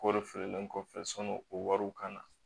Kɔri feerelen kɔfɛ sɔnni o wariw ka na